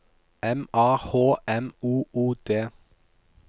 M A H M O O D